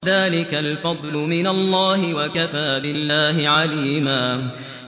ذَٰلِكَ الْفَضْلُ مِنَ اللَّهِ ۚ وَكَفَىٰ بِاللَّهِ عَلِيمًا